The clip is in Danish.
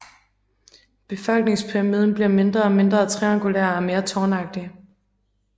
Befolkningspyramiden bliver mindre og mindre triangulær og mere tårnagtig